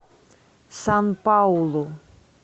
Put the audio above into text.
сан паулу